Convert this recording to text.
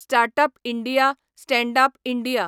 startup India, standup India